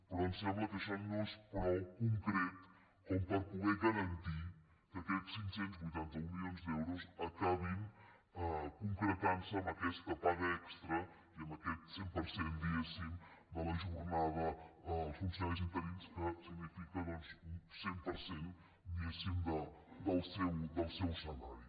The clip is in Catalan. però ens sembla que això no és prou concret per poder garantir que aquests cinc cents i vuitanta un milions d’euros acabin concretant·se en aquesta paga extra i en aquest cent per cent diguéssim de la jornada dels funciona·ris interins que significa un cent per cent diguéssim del seu salari